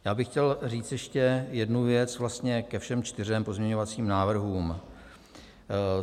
Já bych chtěl říct ještě jednu věc vlastně ke všem čtyřem pozměňovacím návrhům.